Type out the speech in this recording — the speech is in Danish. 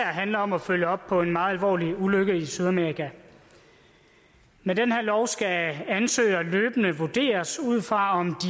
handler om at følge op på en meget alvorlig ulykke i sydamerika med den her lov skal ansøgere løbende vurderes ud fra om